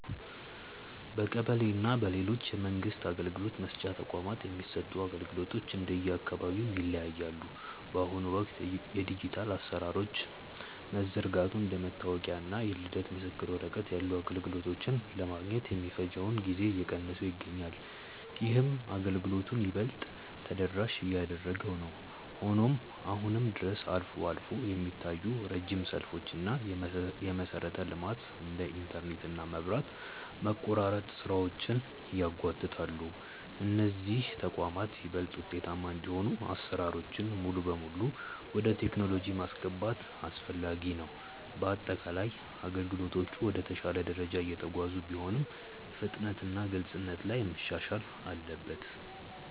በቀበሌ እና በሌሎች የመንግስት አገልግሎት መስጫ ተቋማት የሚሰጡ አገልግሎቶች እንደየአካባቢው ይለያያሉ። በአሁኑ ወቅት የዲጂታል አሰራሮች መዘርጋቱ እንደ መታወቂያ እና የልደት ምስክር ወረቀት ያሉ አገልግሎቶችን ለማግኘት የሚፈጀውን ጊዜ እየቀነሰው ይገኛል። ይህም አገልግሎቱን ይበልጥ ተደራሽ እያደረገው ነው። ሆኖም አሁንም ድረስ አልፎ አልፎ የሚታዩ ረጅም ሰልፎች እና የመሰረተ ልማት (እንደ ኢንተርኔት እና መብራት) መቆራረጥ ስራዎችን ያጓትታሉ። እነዚህ ተቋማት ይበልጥ ውጤታማ እንዲሆኑ አሰራሮችን ሙሉ በሙሉ ወደ ቴክኖሎጂ ማስገባት አስፈላጊ ነው። በአጠቃላይ አገልግሎቶቹ ወደ ተሻለ ደረጃ እየተጓዙ ቢሆንም፣ ፍጥነትና ግልጽነት ላይ መሻሻል አለበት።